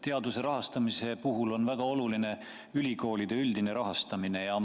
Teaduse rahastamise puhul on väga oluline ülikoolide üldine rahastamine.